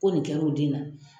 Ko nin kɛra o den na.